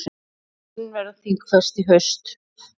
Málin verða þingfest í haust.